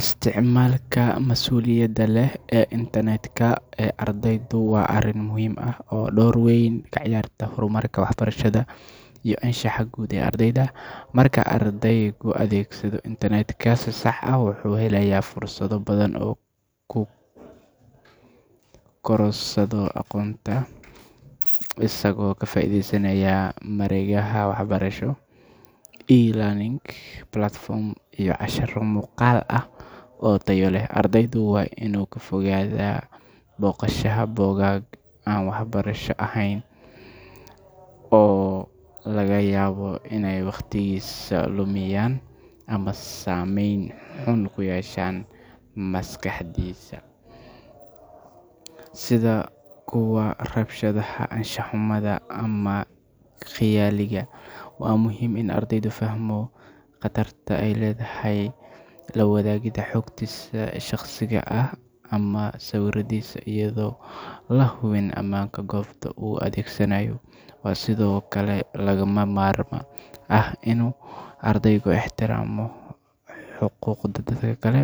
Isticmaalka mas’uuliyadda leh ee internet-ka ee ardaydu waa arrin muhiim ah oo door weyn ka ciyaarta horumarka waxbarashada iyo anshaxa guud ee ardayga. Marka ardaygu adeegsado internet-ka si sax ah, wuxuu helayaa fursado badan oo uu ku korodhsado aqoonta, isagoo ka faa’iidaysanaya mareegaha waxbarasho, e-learning platforms, iyo casharro muuqaal ah oo tayo leh. Ardaygu waa inuu ka fogaadaa booqashada bogag aan waxbarasho ahayn oo laga yaabo inay waqtigiisa lumiyaan ama saameyn xun ku yeeshaan maskaxdiisa, sida kuwa rabshadaha, anshax-xumada, ama khiyaaliga. Waa muhiim in ardaygu fahmo khatarta ay leedahay la wadaagidda xogtiisa shakhsiga ah ama sawiradiisa iyadoo aan la hubin ammaanka goobta uu adeegsanayo. Waxaa sidoo kale lagama maarmaan ah inuu ardaygu ixtiraamo xuquuqda dadka kale,